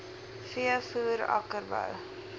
v voer akkerbou